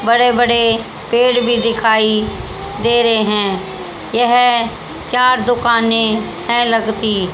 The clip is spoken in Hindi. बड़े बड़े पेड़ भी दिखाई दे रहे हैं यह चार दुकानें हैं लगती--